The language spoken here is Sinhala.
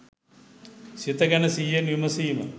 සිත ගැන සිහියෙන් විමසීම